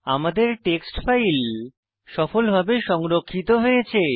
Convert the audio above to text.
আমাদের text file সফলভাবে সংরক্ষিত হয়েছে